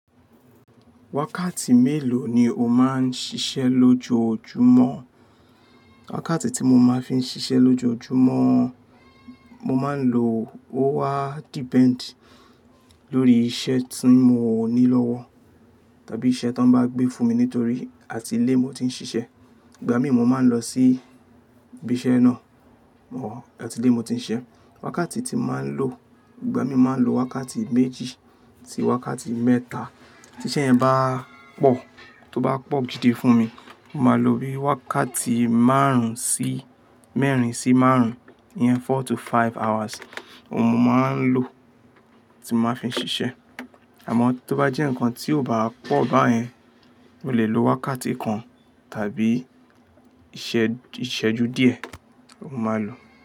Wákàtí mélòó ni o máa ń ṣiṣẹ́ lójoójúmọ́? Wákàtí tí mo máa ń fi ń ṣiṣẹ́ lójoójúmọ́, mo máa ń lò ó wa depend lórí iṣẹ́ tí n ò ní lọ́wọ́ tàbí iṣẹ́ tí wọ́n bá gbé fún mi nítorí àti ilé mo ti ń ṣiṣẹ́. Ìgbà mí mo máa ń lọ sí ibi iṣẹ́ náà or àti ilé mo ti ń ṣẹ. Wákàtí tí mo máa ń lò, ìgbà mí máa ń lo wákàtí méjì si wákàtí mẹ́ta. Ti iṣẹ́ yẹn bá pọ̀, tó bá pọ̀ gidi fún mi, mo máa lo bí i wákàtí márùn-ún sí mẹ́rin sí márùn-ún, iyen four to five hours, òun mo máa ń lò tí maa ń ṣiṣẹ́. Àmọ́ tó bá jẹ́ ǹkan tí ò bá pọ̀ báyẹn, mo lè lo wákàtí kan tàbí ìṣẹ́, ìṣẹ́jú díẹ̀ mo máa lò.